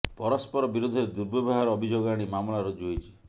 ପରସ୍ପର ବିରୋଧରେ ଦୁର୍ବ୍ୟବହାର ଅଭିଯୋଗ ଆଣି ମାମଲା ରୁଜୁ ହୋଇଛି